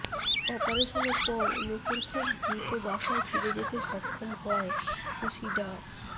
অপারেশনের পর নূপুর খুব দ্রুত বাসায় ফিরে যেতে সক্ষম হওয়ায় খুশি ডা